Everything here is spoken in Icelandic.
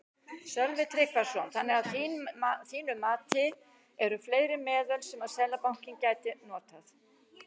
Sölvi Tryggvason: Þannig að þín mati eru fleiri meðöl sem að Seðlabankinn gæti notað?